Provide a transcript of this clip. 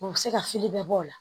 U bɛ se ka fili bɛɛ bɔ o la